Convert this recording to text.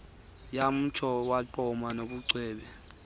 yamtsho wagqama nobucwebe